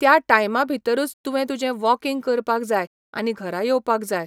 त्या टायमा भितरूच तुवें तुजें वॉकींग करपाक जाय आनी घरा येवपाक जाय.